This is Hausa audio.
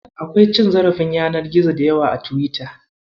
Akwai cin zarafin yanar gizo da yawa a Tiwita.